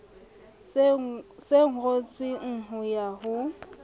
se kwetsweng ho ya ho